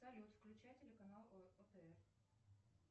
салют включай телеканал отр